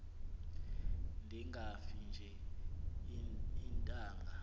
ndingafi nje iintanga